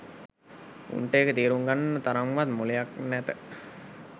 උන්ට ඒක තේරුම් ගන්න තරම් වත් මොලයක් නැත